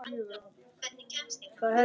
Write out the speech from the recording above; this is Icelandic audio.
Lóa: Hvað getur þetta verið?